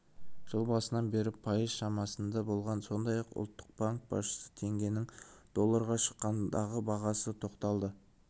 жыл басынан бері пайыз шамасында болған сондай-ақ ұлттық банк басшысы теңгенің долларға шаққандағы бағасына тоқталды